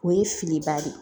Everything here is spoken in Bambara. O ye filiba de ye